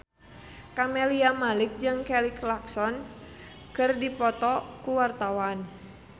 Camelia Malik jeung Kelly Clarkson keur dipoto ku wartawan